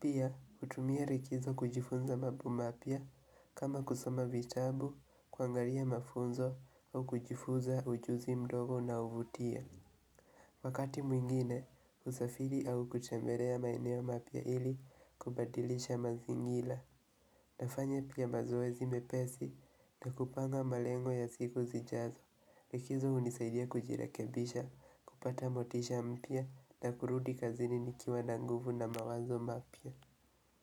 Pia hutumia rikizo kujifunza mabo mapya kama kusoma vitabu kuangaria mafunzo au kujifunza ujuzi mdogo unaovutia Wakati mwingine usafiri au kuchemberea maeneo mapya ili kubadilisha mazingila nafanya pia mazoezi mepesi na kupanga malengo ya siku zijazo Rikizo hunisaidia kujirekebisha, kupata motisha mpya na kurudi kazini nikiwa na nguvu na mawazo mapya.